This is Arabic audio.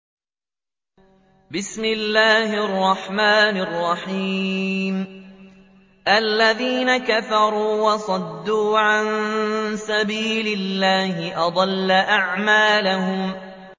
الَّذِينَ كَفَرُوا وَصَدُّوا عَن سَبِيلِ اللَّهِ أَضَلَّ أَعْمَالَهُمْ